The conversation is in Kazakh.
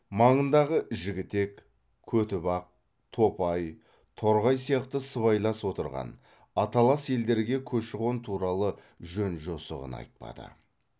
маңындағы жігітек көтібақ топай торғай сияқты сыбайлас отырған аталас елдерге көші қон туралы жөн жосығын айтпады